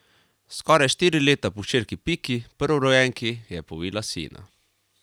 Skoraj štiri leta po hčerki Piki, prvorojenki, je povila sina.